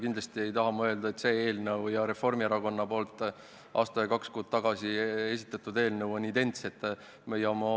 Kindlasti ei taha ma öelda, et see eelnõu ja Reformierakonna poolt aasta ja kaks kuud tagasi esitatud eelnõu on identsed.